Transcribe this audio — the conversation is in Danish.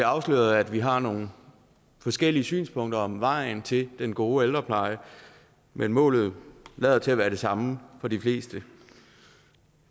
afsløret at vi har nogle forskellige synspunkter om vejen til den gode ældrepleje men målet lader til at være det samme for de fleste